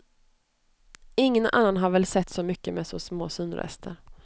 Ingen annan har väl sett så mycket med så små synrester.